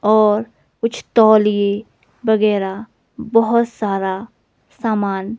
और कुछ तौलिए वगैरह बहुत सारा सामान--